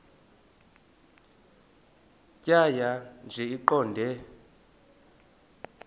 tjhaya nje iqondee